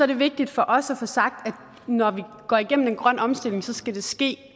det vigtigt for os at få sagt at når vi går igennem en grøn omstilling skal det ske